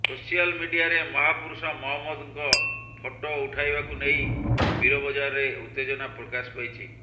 social ମିଡିଆରେ ମହାପୁରୁଷ ମହମ୍ମଦଙ୍କ ଫଟୋ ପଠାଇବାକୁ ନେଇ ପୀରବଜାରରେ ଉତ୍ତେଜନା ପ୍ରକାଶ ପାଇଛି